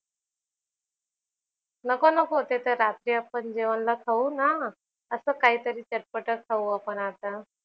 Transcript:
नको नको ते तर रात्री आपण जेवणला खाऊ ना. असं काहीतरी चटपटं खाऊ आपण आता.